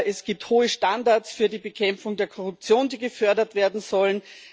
es gibt hohe Standards für die Bekämpfung der Korruption, die gefördert werden sollen